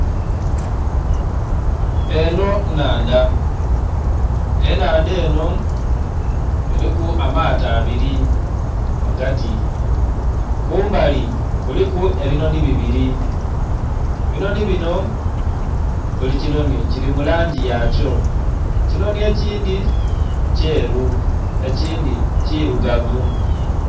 Enho nnhandha, ennhandha enho eliku amaato abili ghagati, kumbali kuliku ebinhonhi bibili. Ebinhonhi binho buli kinhonhi kili mu langi yakyo, ekinhonhi ekindhi kyeru ekindhi kilugavu.